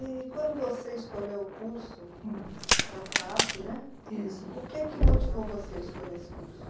E quando você escolheu o curso da FAAP né Isso, O que é que motivou você a escolher esse curso?